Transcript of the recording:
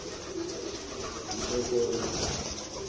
nto kho na